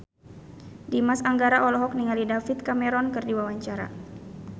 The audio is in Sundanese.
Dimas Anggara olohok ningali David Cameron keur diwawancara